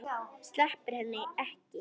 Sleppir henni ekki.